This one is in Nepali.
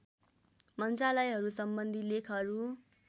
मन्त्रालयहरू सम्बन्धी लेखहरू